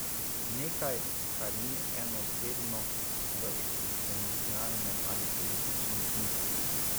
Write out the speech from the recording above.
Nekaj, kar ni enoosebno v eksistencialnem ali političnem smislu.